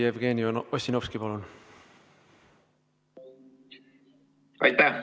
Jevgeni Ossinovski, palun!